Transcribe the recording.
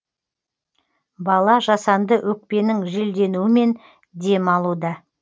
бала жасанды өкпенін желденуімен дем алуда